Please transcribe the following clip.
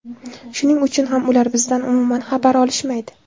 Shuning uchun ham ular bizdan umuman xabar olishmaydi.